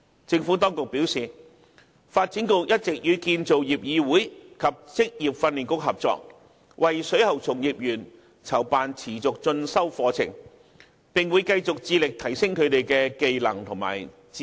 政府當局表示，發展局一直與建造業議會及職業訓練局合作，為水喉從業員籌辦持續進修課程，並會繼續致力提升他們的相關技能和知識。